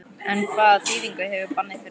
En hvaða þýðingu hefur bannið fyrir okkur?